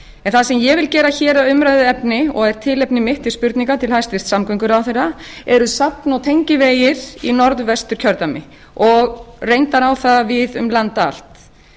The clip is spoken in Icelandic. en það sem ég vil gera hér að umræðuefni og er tilefni mitt til spurninga til hæstvirts samgönguráðherra eru safn og tengivegir í norðvesturkjördæmi og reyndar á það við um land allt